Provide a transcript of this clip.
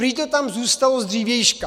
Prý to tam zůstalo z dřívějška.